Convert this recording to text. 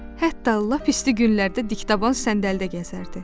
Hətta lap isti günlərdə dikdaban səndəldə gəzərdi.